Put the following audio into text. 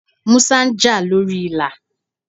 Músá ń jà lórí Ìlà.